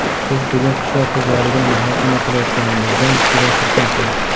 Biz bugun qishloq xo‘jaligini muhokama qilayotganimizdan juda xursandman.